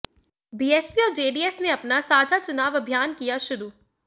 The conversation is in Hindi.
बीएसपी और जेडीएस ने अपना साझा चुनाव अभियान किया शुरू